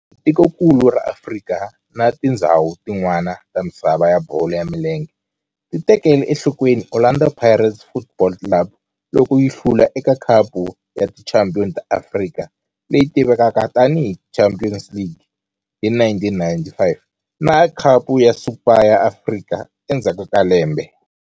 Kambe tikonkulu ra Afrika na tindzhawu tin'wana ta misava ya bolo ya milenge ti tekele enhlokweni Orlando Pirates Football Club loko yi hlula eka Khapu ya Tichampion ta Afrika, leyi tivekaka tani hi Champions League, hi 1995 na Khapu ya Super ya Afrika endzhaku ka lembe.